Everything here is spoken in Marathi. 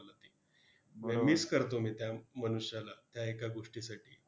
miss करतो मी त्या मनुष्याला त्या एका गोष्टीसाठी